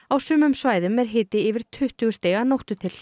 á sumum svæðum er hiti yfir tuttugu stig að nóttu til